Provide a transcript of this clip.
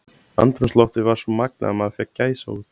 Andrúmsloftið var svo magnað að maður fékk gæsahúð.